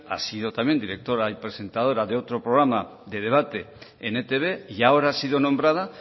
ha sido también directora y presentadora de otro programa de debate en etb y ahora ha sido nombrada